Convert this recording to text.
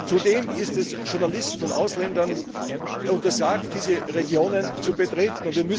Zudem ist es Journalisten und Ausländern untersagt, diese Regionen zu betreten.